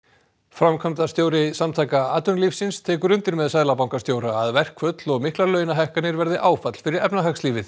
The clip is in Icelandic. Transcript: framkvæmdastjóri Samtaka atvinnulífsins tekur undir með seðlabankastjóra að verkföll og miklar launahækkanir verði áfall fyrir efnahagslífið